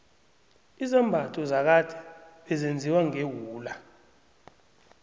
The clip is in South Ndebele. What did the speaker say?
izambatho zakade bezenziwa ngewula